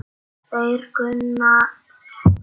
Þeir kunna þetta.